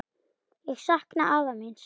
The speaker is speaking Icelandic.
Ég sakna afa míns.